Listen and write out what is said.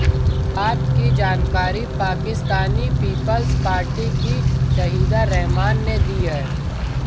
इस बात की जानकारी पाकिस्चानी पीपल्स पार्टी की शाहिदा रहमान ने दी है